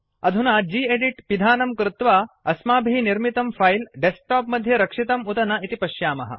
अधुना गेदित् पिधानं कृत्वा अस्माभिः निर्मितं फिले डेस्कटॉप मध्ये रक्षितम् उत न इति पश्यामः